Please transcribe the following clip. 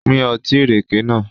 Pín Ọtí ìrèké nàá.